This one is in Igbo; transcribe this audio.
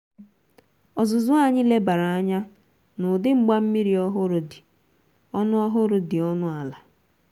ọzuzụ anyi lebara anya n' udi mgbammiri ọhụrụ dị ọnụ ọhụrụ dị ọnụ ala